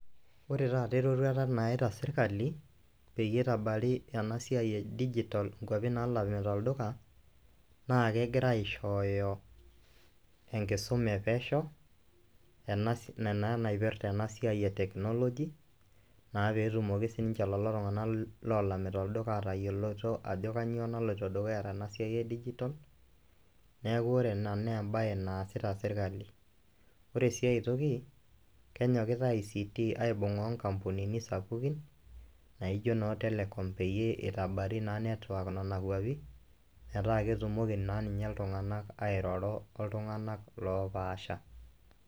Ore taata eroruata naita sirkali peyie itabari ena siai e dijital nkuapi naalamita olduka naake egira aishooyo enkisuma e pesho ena ena naipirta ena siai e teknoloji naa pee etumoki sininje lelo tung'anak loolamita olduka aatayioloto ajo kanyo naloito dukuya tena siai e dijital neeku ore ena nee embaye naasita sirkali. Ore sii ai toki kenyokita ICT aibung'a o nkampunini sapukin naijo noo Teleom peyie itabari naa network nona kuapi metaa ketumoki naa ninye iltung'anak airoro oltung'anak loopaasha.